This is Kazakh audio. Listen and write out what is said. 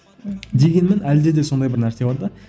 дегенмен әлде де сондай бір нәрсе бар да